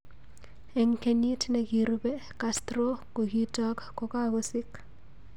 Ik kenyit nikirube, Castro gokitak gokagosik.